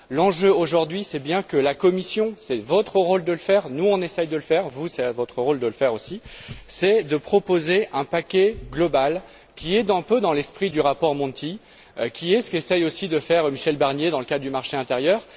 L'enjeu aujourd'hui, c'est bien que la Commission c'est votre rôle de le faire, nous, on essaie de le faire, vous, c'est votre rôle de le faire aussi propose un paquet global qui soit un peu dans l'esprit du rapport Monti, qui soit dans la lignée de ce qu'essaie aussi de faire Michel Barnier dans le cadre du marché intérieur.